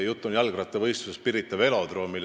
Jutt on jalgrattavõistlusest Pirita velodroomil.